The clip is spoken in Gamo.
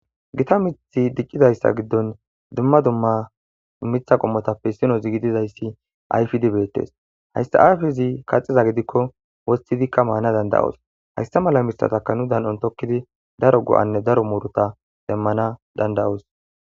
gita mithi diccidayssa giddon dumma dumma mitha qommotappe sino zigididayssi ayfidi beettes hayssa ayfezi kaxiza gidikko wostidikka maana danda7oos hayssa mala mithataka nu dan7on tokkidi daro go7anne daro muuruta demmana danda'os